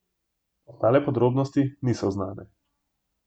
Ostale podrobnosti niso znane.